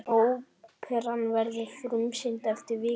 Óperan verður frumsýnd eftir viku.